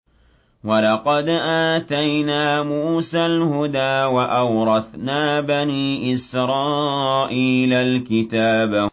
وَلَقَدْ آتَيْنَا مُوسَى الْهُدَىٰ وَأَوْرَثْنَا بَنِي إِسْرَائِيلَ الْكِتَابَ